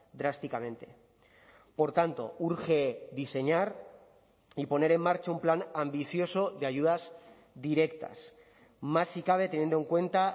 drásticamente por tanto urge diseñar y poner en marcha un plan ambicioso de ayudas directas más si cabe teniendo en cuenta